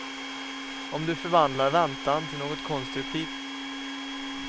Om du förvandlar väntan till något konstruktivt.